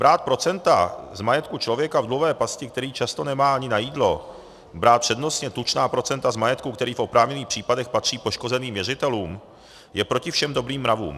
Brát procenta z majetku člověka v dluhové pasti, který často nemá ani na jídlo, brát přednostně tučná procenta z majetku, který v oprávněných případech patří poškozeným věřitelům, je proti všem dobrým mravům.